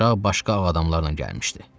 Uşaq başqa ağ adamlarla gəlmişdi.